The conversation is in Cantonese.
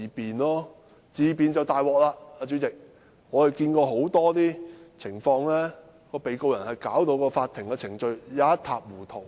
不過，自辯便糟糕了，主席，我們看見很多情況是，被告人把法庭程序弄得一塌糊塗。